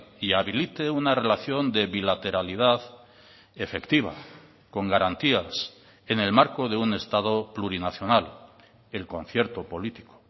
y habilite una relación de bilateralidad efectiva con garantías en el marco de un estado plurinacional el concierto político